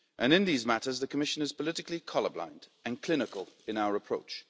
In these matters, the Commission is politically colour blind and clinical in our approach.